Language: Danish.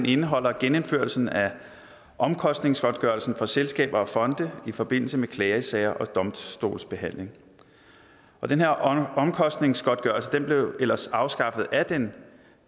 indeholder genindførelsen af omkostningsgodtgørelsen for selskaber og fonde i forbindelse med klagesager og domstolsbehandling den her omkostningsgodtgørelse blev ellers afskaffet af den